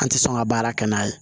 An tɛ sɔn ka baara kɛ n'a ye